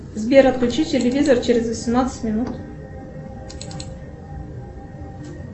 сбер отключи телевизор через восемнадцать минут